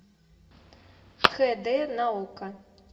хэ дэ на окко